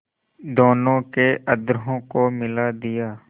दोनों के अधरों को मिला दिया